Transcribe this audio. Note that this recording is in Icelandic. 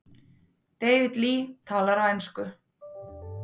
David Lee talar á ensku.